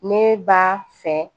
Ne b'a fɛ